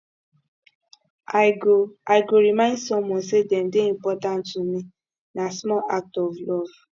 i go i go remind someone say dem dey important to me na small act of love